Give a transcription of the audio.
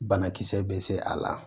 Banakisɛ bɛ se a la